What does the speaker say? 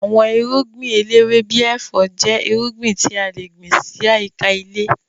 Àwọn irúngbìn eléwé bíi ẹ̀fọ́ jẹ́ irúgbìn tí a le gbìn sí àyíká ilé